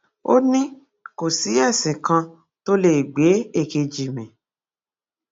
ó ní kò sí ẹsìn kan tó lè gbé èkejì mi